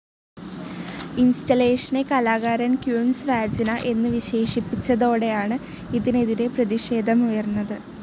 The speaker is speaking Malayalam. ഇൻസ്റ്റലേഷനെ കലാകാരൻ ക്വീൻസ് വാജിന എന്ന് വിശേഷിപ്പിച്ചതോടെയാണ് ഇതിനെതിരെ പ്രതിഷേധമുയർന്നത്.